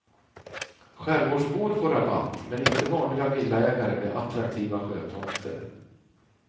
Skärgårdsbor får rabatt, men inte vanliga villaägare med attraktiva sjötomter.